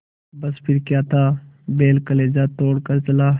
बस फिर क्या था बैल कलेजा तोड़ कर चला